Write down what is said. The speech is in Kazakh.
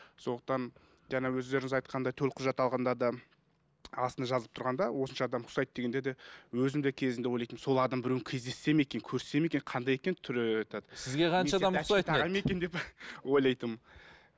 сондықтан жаңа өздеріңіз айтқандай төлқұжат алғанда да астында жазылып тұрғанда осынша адам ұқсайды дегенде де өзім де кезінде ойлайтынмын сол адамның біреуін кездессем екен көрсем екен қандай екен түрі этот ойлайтынмын